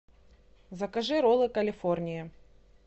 закажи роллы калифорния